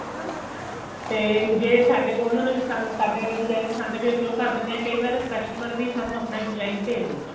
ਤੇ ਜੇ ਸਾਡੇ ਕੋਲ ਉਹਨਾ ਦੇ ਪਸੰਦ ਸਾਡੇ ਵਾਲੇ design ਪਸੰਦ ਗਏ ਸੀ ਅਸੀਂ ਉਹ ਕਰ ਦਿੰਦੇ ਆ ਕਈ ਵਾਰ customer ਵੀ ਸਾਨੂੰ ਆਪਣਾ design ਭੇਜ ਦਿੰਦਾ ਹੈ